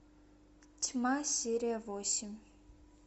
тьма серия восемь